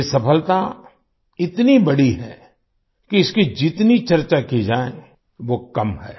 ये सफलता इतनी बड़ी है कि इसकी जितनी चर्चा की जाए वो कम है